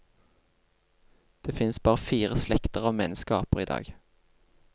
Det finnes bare fire slekter av menneskeaper i dag.